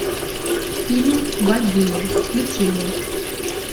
фильм богиня включи мне